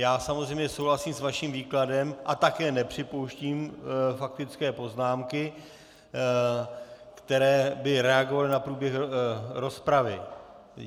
Já samozřejmě souhlasím s vaším výkladem a také nepřipouštím faktické poznámky, které by reagovaly na průběh rozpravy.